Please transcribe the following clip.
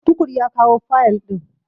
Tukur ya kawo fayil ɗin.